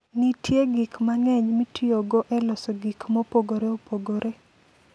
Nitie gik mang'eny mitiyogo e loso gik mopogore opogore.